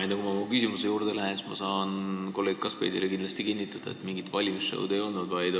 Enne, kui ma oma küsimuse juurde lähen, saan ma kolleeg Kaskpeitile kinnitada, et mingit valimisshow'd ei olnud.